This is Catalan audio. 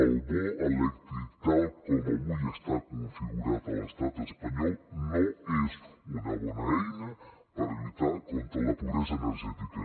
el bo elèctric tal com avui està configurat a l’estat espanyol no és una bona eina per lluitar contra la pobresa energètica